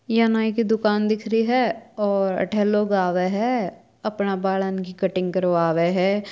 या नाई की दुकान दिख रही है और अठे लोग आवय है अपना बालों की कटाई करवाव है।